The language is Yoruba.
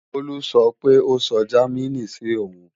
Bólú sọ pé ó sọ Jámínì sí òun